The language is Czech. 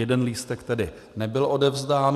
Jeden lístek tedy nebyl odevzdán.